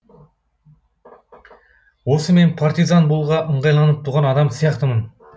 осы мен партизан болуға ыңғайланып туған адам сияқтымын